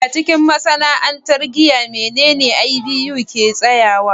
A cikin masana'antar giya, menene IBU ke tsayawa?